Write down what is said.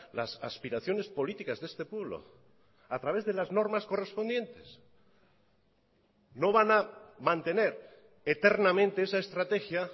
las aspiraciones políticas de este pueblo a través de las normas correspondientes no van a mantener eternamente esa estrategia